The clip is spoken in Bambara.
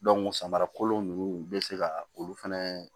samara kolon nunnu bɛ se ka olu fɛnɛ